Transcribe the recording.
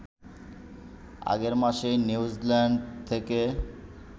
আগের মাসেই New Zealand থেকে